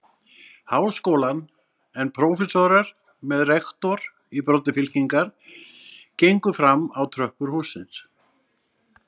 Háskólann, en prófessorar með rektor í broddi fylkingar gengu fram á tröppur hússins.